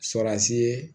Sɔr'asi ye